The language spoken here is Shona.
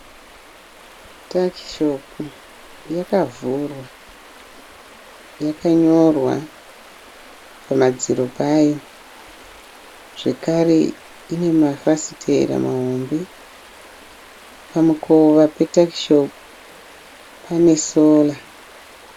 Takishopu yakavhurwa, yakanyorwa pamadziro payo. Zvekare ine mafasitera mahombe. Pamukova petakishopu pane sora.